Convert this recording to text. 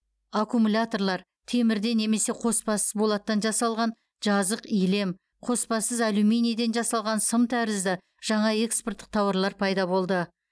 аккумуляторлар темірден немесе қоспасыз болаттан жасалған жазық илем қоспасыз алюминийден жасалған сым тәрізді жаңа экспорттық тауарлар пайда болды